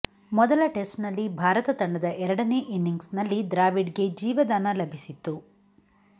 ಮೊದಲ ಟೆಸ್ಟ್ನಲ್ಲಿ ಭಾರತ ತಂಡದ ಎರಡನೇ ಇನಿಂಗ್ಸ್ ನಲ್ಲಿ ದ್ರಾವಿಡ್ಗೆ ಜೀವದಾನ ಲಭಿಸಿತ್ತು